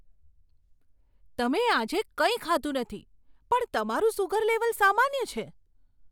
તમે આજે કંઈ ખાધું નથી, પણ તમારું સુગર લેવલ સામાન્ય છે!